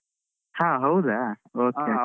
ಹಾ ಹೌದಾ? okay okay.